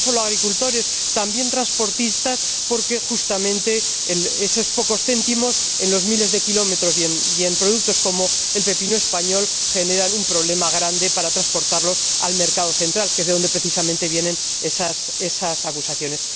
no solo a agricultores, también a transportistas, porque justamente esos pocos céntimos, en los miles de kilómetros y en productos como el pepino español, generan un problema grande para transportarlos al mercado central, que es de donde precisamente vienen esas acusaciones.